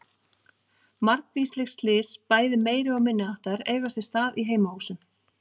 Margvísleg slys, bæði meiri- og minniháttar eiga sér stað í heimahúsum.